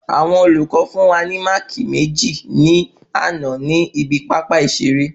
Àwọn olùkọ fún wa ni máàkì meji ni àná ni ibi pápá ìṣẹ eré